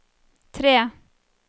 tre